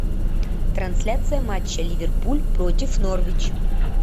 трансляция матча ливерпуль против норвич